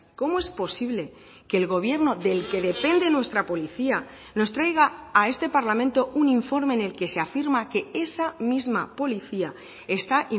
cómo es posible que el gobierno del que depende nuestra policía nos traiga a este parlamento un informe en el que se afirma que esa misma policía está